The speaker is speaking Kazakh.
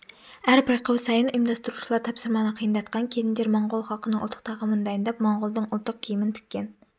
әр байқау сайын ұйымдастырушылар тапсырманы қиындатқан келіндер моңғол халқының ұлттық тағамын дайындап моңғолдың ұлттық киімін тіккен